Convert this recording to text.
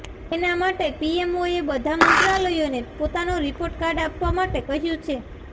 તેના માટે પીએમઓએ બધા મંત્રાલયોને પોતાનો રિપોર્ટકાર્ડ આપવા માટે કહ્યું છે